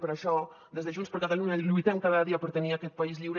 per això des de junts per catalunya lluitem cada dia per tenir aquest país lliure